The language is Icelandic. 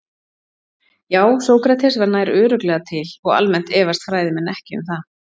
Já, Sókrates var nær örugglega til og almennt efast fræðimenn ekki um það.